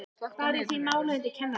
Bar ég því málið undir kennarann.